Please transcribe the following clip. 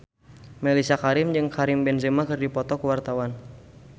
Mellisa Karim jeung Karim Benzema keur dipoto ku wartawan